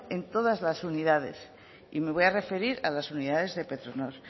en todas las unidades y me voy a referir a las unidades de petronor